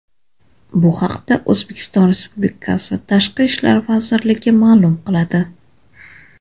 Bu haqda O‘zbekiston Respublikasi Tashqi ishlar vazirligi ma’lum qiladi .